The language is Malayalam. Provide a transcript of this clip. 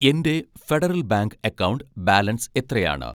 എൻ്റെ ഫെഡറൽ ബാങ്ക് അക്കൗണ്ട് ബാലൻസ് എത്രയാണ്?